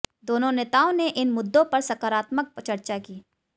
दोनों नेताओं ने इन मुद्दों पर सकारात्मक चर्चा की